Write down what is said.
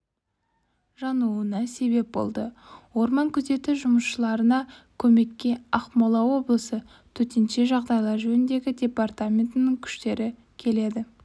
жануына себеп болады орман күзеті жұмысшыларына көмекке ақмола облысы төтенше жағдайлар жөніндегі департаментінің күштері келеді